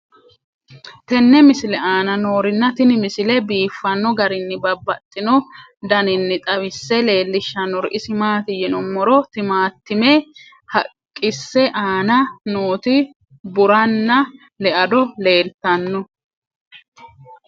tenne misile aana noorina tini misile biiffanno garinni babaxxinno daniinni xawisse leelishanori isi maati yinummoro timaattimme haqqisse aanna nootti burranna leado leelittanno.